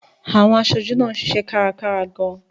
Àwọn aṣojú náà ń ṣiṣẹ́ kárakára gan-an.